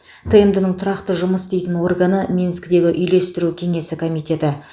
тмд ның тұрақты жұмыс істейтін органы минскідегі үйлестіру кеңесі комитеті